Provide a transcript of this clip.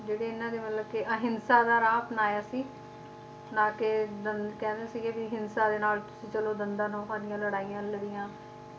ਜਿਹੜੇ ਇਹਨਾਂ ਦੇ ਮਤਲਬ ਕੇ ਅਹਿੰਸਾ ਦਾ ਰਾਹ ਅਪਣਾਇਆ ਸੀ ਨਾ ਕੇ ਦੰ ਕਹਿੰਦੇ ਸੀ ਕੇ ਵੀ ਹਿੰਸਾ ਦੇ ਨਾਲ ਚਲੋ ਦੰਦਾਂ ਨੌਹਾਂ ਦੀਆਂ ਲੜਾਈਆਂ ਲੜੀਆਂ